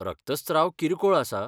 रक्तस्त्राव किरकोळ आसा.